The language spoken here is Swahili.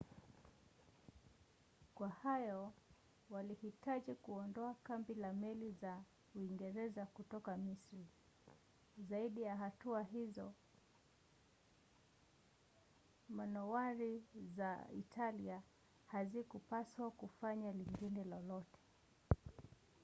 kwa hayo walihitaji kuondoa kambi na meli za uingereza kutoka misri. zaidi ya hatua hizo manowari za italia hazikupaswa kufanya lingine lolote